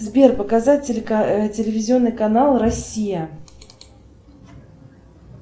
сбер показать телевизионный канал россия